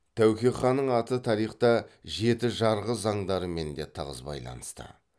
тәуке ханның аты тарихта жеті жарғы заңдарымен де тығыз байланысты